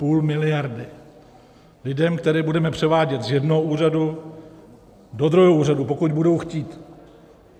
Půl miliardy lidem, které budeme převádět z jednoho úřadu do druhého úřadu, pokud budou chtít.